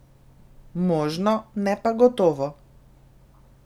Možno, ne pa gotovo.